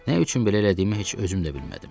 Nə üçün belə elədiyimi heç özüm də bilmədim.